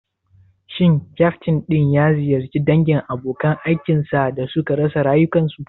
Shin ƙyaftin din ya ziyarci dangin abokan aikin sa da suka rasa rayukansu?